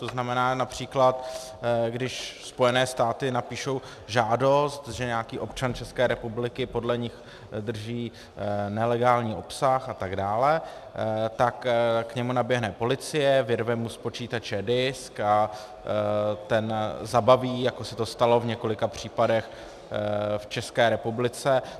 To znamená například, když Spojené státy napíší žádost, že nějaký občan České republiky podle nich drží nelegální obsah a tak dále, tak k němu naběhne policie, vyrve mu z počítače disk a ten zabaví, jako se to stalo v několika případech v České republice?